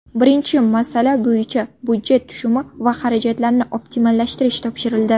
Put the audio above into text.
Birinchi masala bo‘yicha budjet tushumi va xarajatlarini optimallashtirish topshirildi.